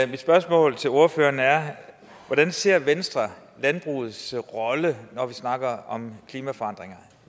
mit spørgsmål til ordføreren er hvordan ser venstre landbrugets rolle når vi snakker om klimaforandringer